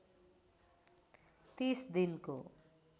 ३० दिनको